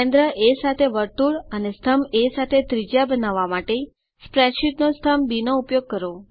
કેન્દ્ર એ સાથે વર્તુળ અને સ્તંભ એ સાથે ત્રિજ્યા બનાવવા માટે સ્પ્રેડશીટનો સ્તંભ બી નો ઉપયોગ કરો